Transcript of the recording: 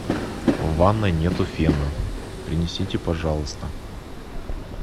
в ванной нету фена принесите пожалуйста